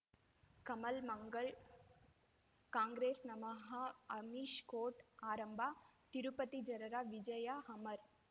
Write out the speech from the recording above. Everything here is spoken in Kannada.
ಕಮಲ್ ಮಂಗಳ್ ಕಾಂಗ್ರೆಸ್ ನಮಃ ಅಮಿಷ್ ಕೋರ್ಟ್ ಆರಂಭ ತಿರುಪತಿ ಜನರ ವಿಜಯ ಅಮರ್